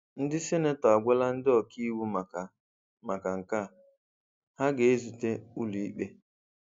Ndị senator agwala ndị ọkà íwú maka maka nke a, ha ga-ezute n'ụlọikpe.